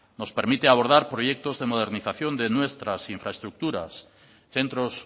nos permite abordar proyectos de modernización de nuestras infraestructuras centros